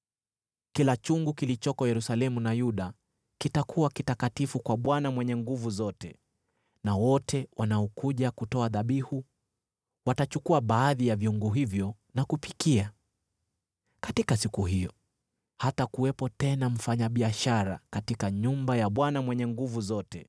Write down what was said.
Kila chungu kilichoko Yerusalemu na Yuda kitakuwa kitakatifu kwa Bwana Mwenye Nguvu Zote na wote wanaokuja kutoa dhabihu watachukua baadhi ya vyungu hivyo na kupikia. Katika siku hiyo hatakuwepo tena mfanyabiashara katika nyumba ya Bwana Mwenye Nguvu Zote.